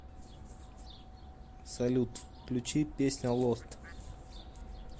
салют включить песня лост